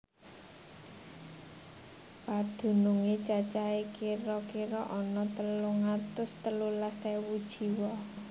Padunungé cacahé kira kira ana telung atus telulas ewu jiwa